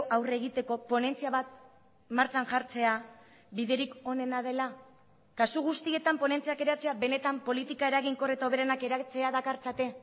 aurre egiteko ponentzia bat martxan jartzea biderik onena dela kasu guztietan ponentziak eratzea benetan politika eraginkor eta hoberenak eratzea dakartzate